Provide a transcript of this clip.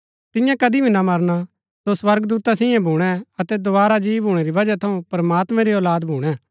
तियां कदी भी ना मरना सो स्वर्गदूता सैई भूणै अतै दोवारा जी भूणै री वजह थऊँ प्रमात्मां री औलाद भूणै